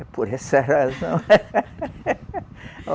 É por essa razão.